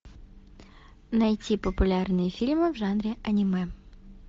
найти популярные фильмы в жанре аниме